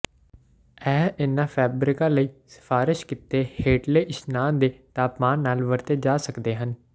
ਇਹ ਇਹਨਾਂ ਫੈਬਰਿਕਾਂ ਲਈ ਸਿਫਾਰਸ਼ ਕੀਤੇ ਹੇਠਲੇ ਇਸ਼ਨਾਨ ਦੇ ਤਾਪਮਾਨ ਨਾਲ ਵਰਤੇ ਜਾ ਸਕਦੇ ਹਨ